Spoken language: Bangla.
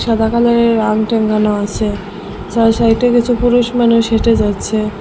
সাদা কালারের টাঙানো আছে চারি সাইডে কিছু পুরুষ মানুষ হেঁটে যাচ্ছে।